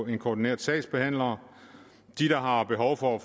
en koordineret sagsbehandler de der har behov for